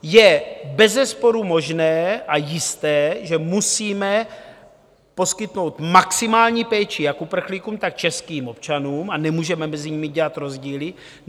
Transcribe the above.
Je bezesporu možné a jisté, že musíme poskytnout maximální péči jak uprchlíkům, tak českým občanům a nemůžeme mezi nimi dělat rozdíly.